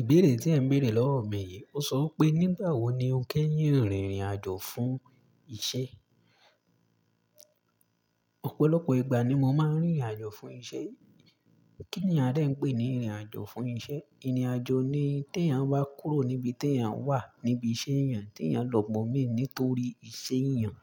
Ìbéèrè tí ẹ ń béèrè lọ́wọ́ mi yìí, ó sọ pé nígbà wo ni o kẹ́yìn rìnrìn àjò fún iṣẹ́? Ọ̀pọ̀lọpọ̀ ìgbà ni mo máa ń rìnrìn àjò fún iṣẹ́. Kí ni a de ń pè ní rìnrìn àjò fún iṣẹ́? Ìrìn àjò ni tí èyàn bá kúrò níbi tí èyàn wà, níbi iṣẹ́ èyàn, tí èyàn lọ́bọ mí nítorí iṣẹ́ èyàn.